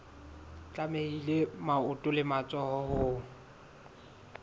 tlamehile maoto le matsoho ho